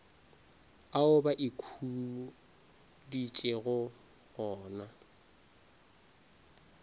ao ba ikhuditšego go na